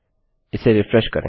इसे रिफ्रेश करें